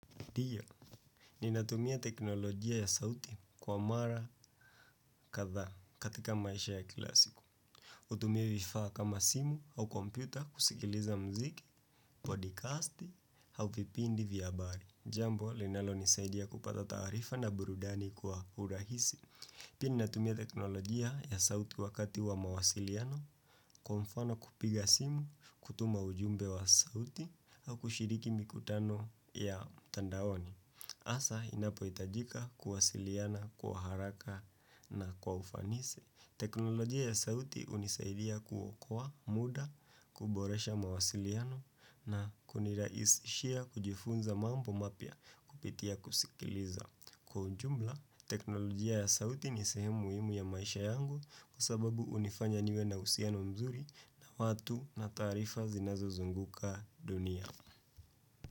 Ndiyo, ninatumia teknolojia ya sauti kwa mara kadhaa katika maisha ya kila siku. Hutumia vifaa kama simu au kompyuta kusikiliza muziki, podikasti, au vipindi vya habari. Jambo linalonisaidia kupata taarifa na burudani kwa urahisi. Pia ninatumia teknolojia ya sauti wakati wa mawasiliano kwa mfano kupiga simu, kutuma ujumbe wa sauti, au kushiriki mikutano ya mtandaoni. Hasa inapohitajika kuwasiliana, kwa haraka na kwa ufanisi. Teknolojia ya sauti hunisaidia kuokoa muda, kuboresha mawasiliano na kunirahisishia kujifunza mambo mapya kupitia kusikiliza. Kwa ujumla, teknolojia ya sauti ni sehemu muhimu ya maisha yangu kwa sababu hunifanya niwe na uhusiano mzuri na watu na taarifa zinazozunguka dunia.